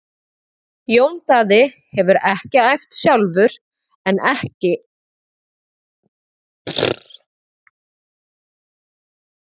Jón Daði hefur æft sjálfur en ekki með hópnum.